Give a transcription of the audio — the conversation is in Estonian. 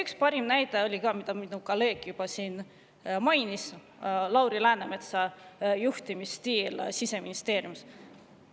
Üks parimaid näiteid oli see, mida mu kolleeg siin juba mainis: Lauri Läänemetsa juhtimisstiil Siseministeeriumis.